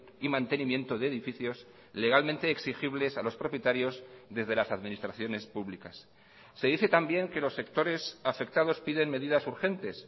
y mantenimiento de edificios legalmente exigibles a los propietarios desde las administraciones públicas se dice también que los sectores afectados piden medidas urgentes